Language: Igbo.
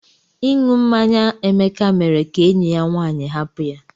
Inu mmanya Emeka mere ka enyi ya nwanyị hapụ ya.